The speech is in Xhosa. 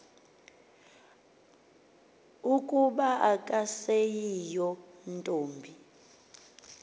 ukuba akaseyiyo ntombi